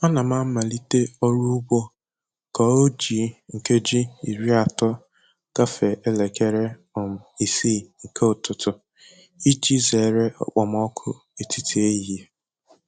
Ana m amalite ọrụ ugbo ka o ji nkeji iri atọ gafee elekere um isii nke ụtụtụ iji zere okpomọkụ etiti ehihie.